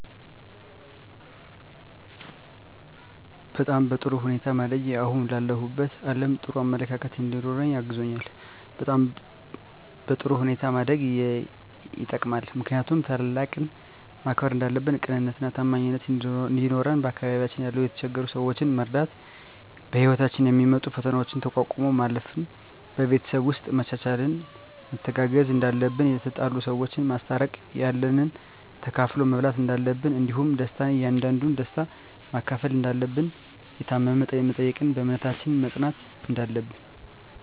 በጣም በጥሩ ሁኔታ ማደጌ አሁን ላለሁበት አለም ጥሩ አመለካከት እንዲኖረኝ አግዞኛል በጥሩ ሁኔታ ማደግ የጠቅማል ምክንያቱም ታላቅን ማክበር እንዳለብን ቅንነትና ታማኝነት እንዲኖረን በአካባቢያችን ያሉ የተቸገሩ ሰዎችን መርዳት በህይወታችን የሚመጡ ፈተናዎችን ተቋቁሞ ማለፍ ን በቤተሰብ ውስጥ መቻቻልና መተጋገዝ እንዳለብን የተጣሉ ሰዎችን ማስታረቅ ያለንን ተካፍሎ መብላት እንዳለብን እንዲሁም ደስታን ያንዱን ደስታ መካፈል እንዳለብን የታመመ መጠየቅን በእምነታችን መፅናት እንዳለብን